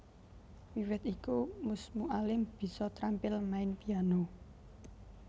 Wiwit iku Mus Mualim bisa trampil main piano